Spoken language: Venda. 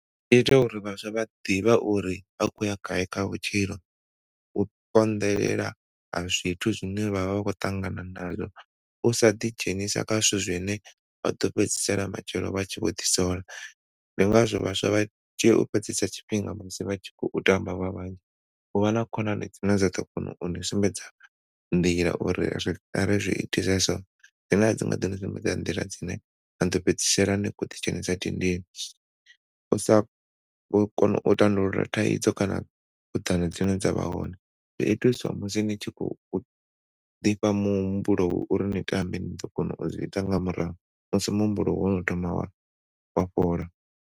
Ita uri vhaswa vha ḓivhe uri vha khou ya gai kha vhutshilo u konḓelela ha zwithu zwine vhavha vha khou ṱangana na zwo u sa ḓidzhenisa kha zwithu zwine vhaḓo fhedzisela matshelo vha tshi vho ḓisola. Ndi ngazwo vhaswa vha tshi tea u fhedzisa tshifhinga musi vha tshi khou tamba vha vhanzhi. U vha na khonani dzine dza ḓo kona uni sumbedza nḓila uri ari zwi itise so dzine adzi nga ḓo ni sumbedza nḓila dzine na ḓo fhedzisela ni khou ḓi dzhenisa ndidini. U sa kona u tandulula thaidzo kana dzine dza vha hone zwi itiswa musi ni tshi khou u ḓifha muhumbulo wa uri ni tambe ni ḓo kona u zwiita nga murahu musi muhumbulo wono thoma wa fhola.